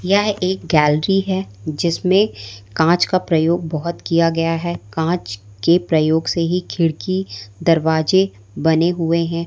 यह एक गैलरी हैं जिसमें कांच का प्रयोग बोहोत किया गया है कांच के प्रयोग से ही खिड़की दरवाजे बने हुएं हैं।